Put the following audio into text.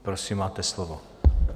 Prosím, máte slovo.